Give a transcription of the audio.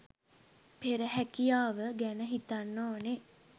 පෙර හැකියාව ගැන හිතන්න ඕනේ